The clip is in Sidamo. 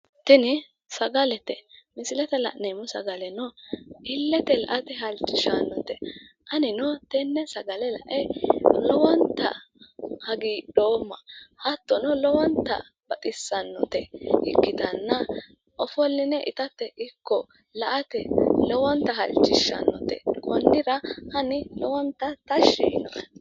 Tini sagalete misilete la'neemmo sagaleno illete la'ate halchishannote anino tenne sagale la'e lowonta hagiidhoomma hattono lowonta baxissannote ikkitanna ofolline itate ikko la'ate lowonta halchishannote konnira ani lowonta tashi yiino'e